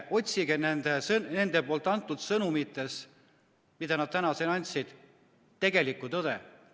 Otsige nende sõnumitest, mis nad täna siin edasi andsid, tegelikku tõde.